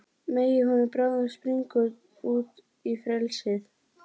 Megi hún bráðum springa út í frelsið.